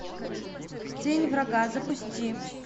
тень врага запусти